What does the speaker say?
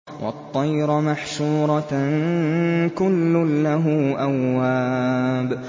وَالطَّيْرَ مَحْشُورَةً ۖ كُلٌّ لَّهُ أَوَّابٌ